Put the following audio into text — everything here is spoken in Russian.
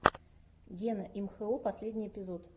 гена имхо последний эпизод